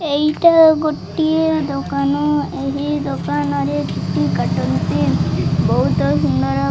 ଏଇଟା ଗୋଟିଏ ଦୋକାନ ଏହି ଦୋକାନରେ ଗୋଟେ କାର୍ଟୁନ ଟେ ବହୁତ ସୁନ୍ଦର --